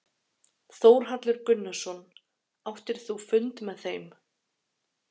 Þórhallur Gunnarsson: Áttir þú fund með þeim?